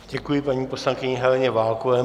Děkuji paní poslankyni Heleně Válkové.